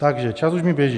Takže čas už mi běží.